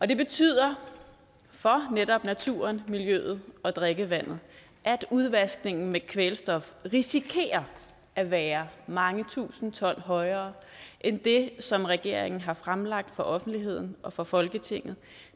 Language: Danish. det betyder for netop naturen miljøet og drikkevandet at udvaskningen af kvælstof risikerer at være mange tusind ton højere end det som regeringen har fremlagt for offentligheden og for folketinget